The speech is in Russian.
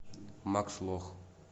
макс лох